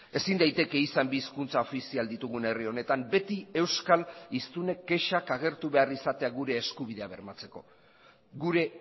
ezin daiteke izan bi hizkuntza ofizial ditugun herri honetan beti euskal hiztunek kexak agertu behar izatea gure eskubidea bermatzeko gure